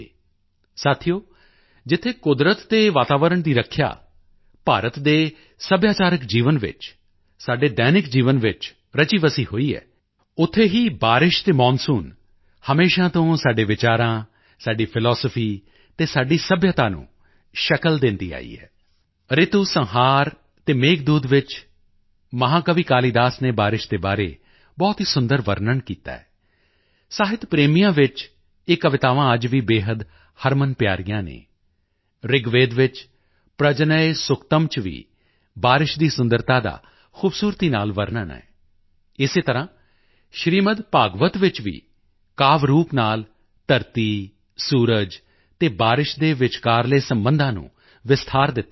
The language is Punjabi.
ਸਾਥੀਓ ਜਿੱਥੇ ਕੁਦਰਤ ਅਤੇ ਵਾਤਾਵਰਣ ਦੀ ਰੱਖਿਆ ਭਾਰਤ ਦੇ ਸੱਭਿਆਚਾਰਕ ਜੀਵਨ ਵਿੱਚ ਸਾਡੇ ਦੈਨਿਕ ਜੀਵਨ ਵਿੱਚ ਰਚੀਵਸੀ ਹੋਈ ਹੈ ਉੱਥੇ ਹੀ ਬਾਰਿਸ਼ ਅਤੇ ਮੌਨਸੂਨ ਹਮੇਸ਼ਾ ਤੋਂ ਸਾਡੇ ਵਿਚਾਰਾਂ ਸਾਡੀ ਫਿਲਾਸਫੀ ਅਤੇ ਸਾਡੀ ਸੱਭਿਅਤਾ ਨੂੰ ਸ਼ਕਲ ਦਿੰਦੇ ਆਏ ਹਨ ਰਿਤੂਸੰਹਾਰ ਅਤੇ ਮੇਘਦੂਤ ਵਿੱਚ ਮਹਾਕਵੀ ਕਾਲੀਦਾਸ ਨੇ ਬਾਰਿਸ਼ ਦੇ ਬਾਰੇ ਬਹੁਤ ਹੀ ਸੁੰਦਰ ਵਰਨਣ ਕੀਤਾ ਹੈ ਸਾਹਿਤ ਪ੍ਰੇਮੀਆਂ ਵਿੱਚ ਇਹ ਕਵਿਤਾਵਾਂ ਅੱਜ ਵੀ ਬੇਹੱਦ ਹਰਮਨਪਿਆਰੀਆਂ ਹਨ ਰਿਗਵੇਦ ਵਿੱਚ ਪਰਜਨਯ ਸੁਕਤਮ ਚ ਵੀ ਬਾਰਿਸ਼ ਦੀ ਸੁੰਦਰਤਾ ਦਾ ਖੂਬਸੂਰਤੀ ਨਾਲ ਵਰਨਣ ਹੈ ਇਸੇ ਤਰ੍ਹਾਂ ਸ੍ਰੀਮਦ ਭਾਗਵਤ ਵਿੱਚ ਵੀ ਕਾਵਿ ਰੂਪ ਨਾਲ ਧਰਤੀ ਸੂਰਜ ਅਤੇ ਬਾਰਿਸ਼ ਦੇ ਵਿਚਕਾਰਲੇ ਸਬੰਧਾਂ ਨੂੰ ਵਿਸਤਾਰ ਦਿੱਤਾ ਗਿਆ ਹੈ